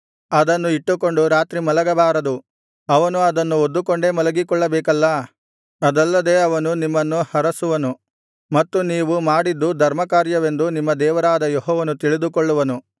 ಅದನ್ನು ಇಟ್ಟುಕೊಂಡು ರಾತ್ರಿ ಮಲಗಬಾರದು ಅವನು ಅದನ್ನು ಹೊದ್ದುಕೊಂಡೇ ಮಲಗಿಕೊಳ್ಳಬೇಕಲ್ಲಾ ಅದಲ್ಲದೆ ಅವನು ನಿಮ್ಮನ್ನು ಹರಸುವನು ಮತ್ತು ನೀವು ಮಾಡಿದ್ದು ಧರ್ಮಕಾರ್ಯವೆಂದು ನಿಮ್ಮ ದೇವರಾದ ಯೆಹೋವನು ತಿಳಿದುಕೊಳ್ಳುವನು